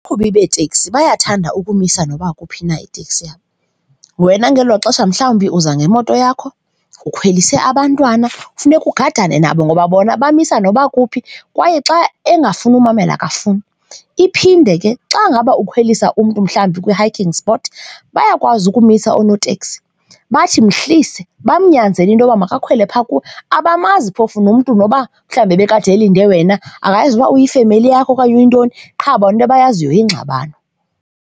Abaqhubi beeteksi bayathanda ukumisa noba kuphi na iteksi yabo, wena ngelo xesha mhlawumbi uza ngemoto yakho ukhwelise abantwana funeka ugadane nabo ngoba bona bamisa noba kuphi kwaye xa engafuni umamela, akafuni. Iphinde ke xa ngaba ukhwelisa umntu mhlawumbi kwi-hiking spot, bayakwazi ukumisa oonoteksi bathi mhlise, bamnyanzele into yoba makakhwele phaa kubo. Abamazi phofu lo mntu noba mhlawumbi ebekade elinde wena, abayazi uba uyifemeli yakho okanye uyintoni qha bona into abayaziyo yingxabano.